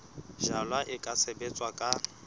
jalwa e ka sebetswa ka